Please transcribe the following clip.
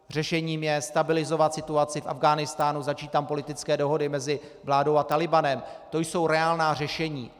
Řešením je stabilizovat situaci v Afghánistánu, začít tam politické dohody mezi vládou a Talibanem, to jsou reálná řešení.